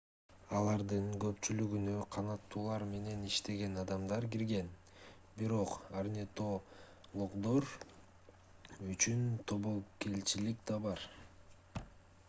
алардын көпчүлүгүнө канаттуулар менен иштеген адамдар кирген бирок орнитологдор үчүн тобокелчилик да бар